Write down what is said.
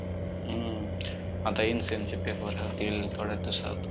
हम्म आता intern चे paper होतील थोड्याच दिवसात